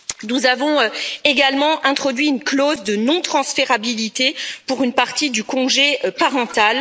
Nous avons également introduit une clause de non transférabilité pour une partie du congé parental.